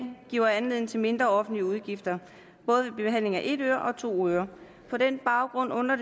giver anledning til mindre offentlige udgifter både ved behandling af et øre og to ører på den baggrund undrer